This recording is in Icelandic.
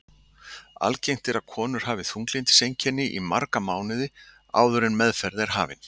Algengt er að konur hafi þunglyndiseinkenni í marga mánuði áður en meðferð er hafin.